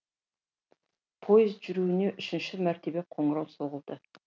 поездің жүруіне үшінші мәртебе қоңырау соғылды